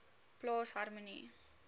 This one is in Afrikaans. plaas harmonie